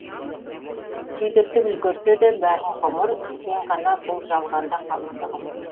сүйдіртіп үлгерсе де бәрін ғұмыр сен ғана бұ жалғанда қалыңдығым